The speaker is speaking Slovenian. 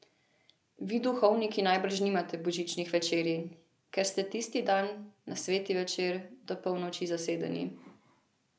Vi duhovniki najbrž nimate božičnih večerij, ker ste tisti dan, na sveti večer, do polnoči zasedeni.